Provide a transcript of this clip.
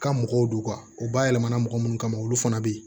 Ka mɔgɔw don u bayɛlɛma na mɔgɔ minnu kama olu fana bɛ yen